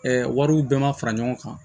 wariw bɛɛ ma fara ɲɔgɔn kan